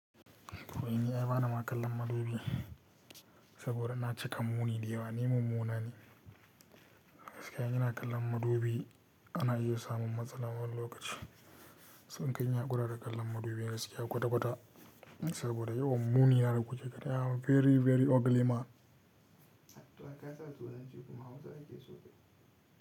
Ko aini bani ma kallon madubi saboda na cika muni da yawa ni mummunane. Gaskiya ina kallon madubi ana iya samun matsala wani lokaci. So nakai in hakura da kallon madubi gaskiya kwata-kwata saboda yawan muni na da kuke gani. Very very ugly man ka sa turanci ciki kuma Hausa ake so kayi.